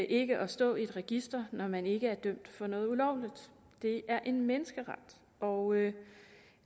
ikke at stå i et register når man ikke er dømt for noget ulovligt det er en menneskeret og